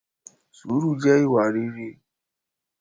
sùúrù jẹ́ ìwà rere